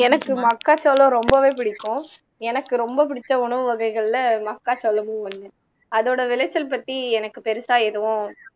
எனக்கு மக்கா சோளம் ரொம்பவே பிடிக்கும் எனக்கு ரொம்ப பிடிச்ச உணவு வகைகள்ல மக்கா சோளமும் ஒண்ணு அதோட விளைச்சல் பத்தி எனக்கு பெருசா எதுவும்